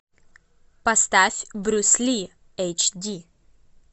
поставь брюс ли эйч ди